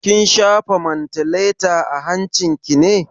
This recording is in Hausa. Kin shafa mantaleta a hancin ki ne?